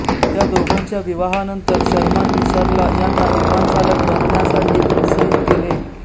त्या दोघांच्या विवाहानंतर शर्मांनी सरला यांना विमान चालक बनण्यासाठी प्रोत्साहित केले